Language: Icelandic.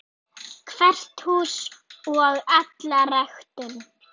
Hvert hús og alla ræktun.